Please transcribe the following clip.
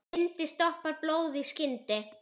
Bindi stoppar blóð í skyndi.